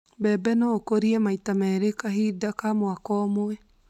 Mbembe no ikũrio maita merĩ kahinda kwa mwaka ũmwe